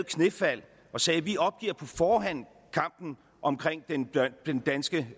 knæfald og sagde vi opgiver på forhånd kampen om den danske